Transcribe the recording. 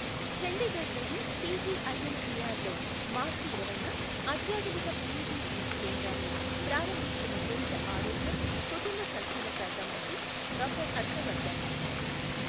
చండీగఢ్ లోని పిజిఐఎంఇఆర్ లో మార్చి ఇరవైన అత్యాధునిక పిఇటి సిటి కేంద్రాన్ని ప్రారంభిస్తున్న కేంద్ర ఆరోగ్య, కుటుంబ సంక్షేమ శాఖామంత్రి డాక్టర్ హర్షవర్ధన్.